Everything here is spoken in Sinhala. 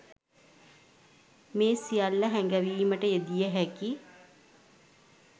මේ සියල්ල හැඟවීමට යෙදිය හැකි